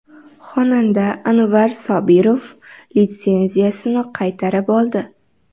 Xonanda Anvar Sobirov litsenziyasini qaytarib oldi.